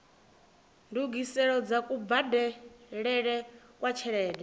ndungiselo dza kubadelele kwa tshelede